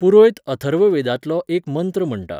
पुरोयत अथर्ववेदांतलो एक मंत्र म्हणटा.